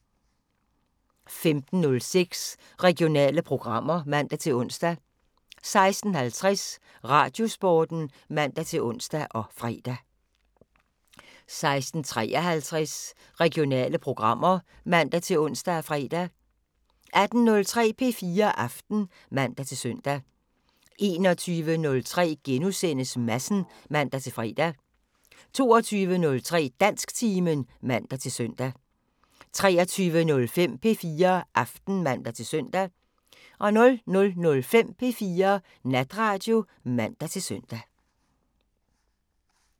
15:06: Regionale programmer (man-ons) 16:50: Radiosporten (man-ons og fre) 16:53: Regionale programmer (man-ons og fre) 18:03: P4 Aften (man-søn) 21:03: Madsen *(man-fre) 22:03: Dansktimen (man-søn) 23:05: P4 Aften (man-søn) 00:05: P4 Natradio (man-søn)